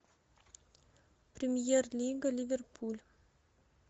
премьер лига ливерпуль